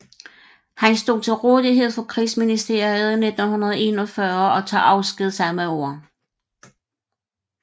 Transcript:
Han stod til rådighed for Krigsministeriet 1941 og tog afsked samme år